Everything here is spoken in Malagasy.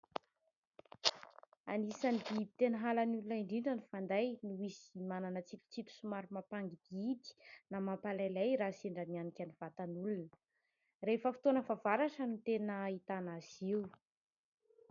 Anisan'ny biby tena halan'ny olona indrindra ny fanday, noho izy manana tsilotsitro somary mampangidihidy na mampalailay raha sendra mihanika ny vatan'olona. Rehefa fotoana favaratra no tena ahitana azy io.